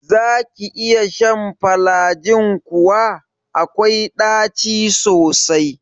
Zaki iya shan falajin kuwa? akwai ɗaci sosai.